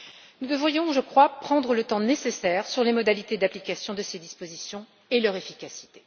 Nous devrions, je crois, prendre le temps nécessaire pour ce qui est des modalités d'application de ces dispositions et de leur efficacité.